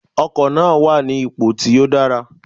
Ọkò náà wà ní ipò tí ó dára